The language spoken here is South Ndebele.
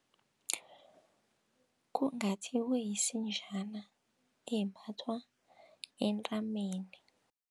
Kungathi kuyisinjana embathwa entameni.